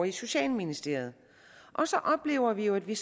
i socialministeriet så oplever vi jo at vi